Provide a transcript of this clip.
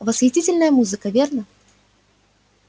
восхитительная музыка верно